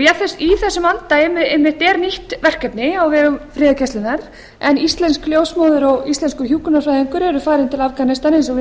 í þessum anda einmitt er nýtt verkefni á vegum friðargæslunnar en íslensk ljósmóðir og íslenskur hjúkrunarfræðingur eru farin til afganistan eins og við